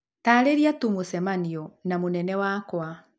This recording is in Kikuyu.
taarĩria tu mũcemanio na mũnene wakwa